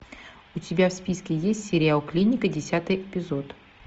у тебя в списке есть сериал клиника десятый эпизод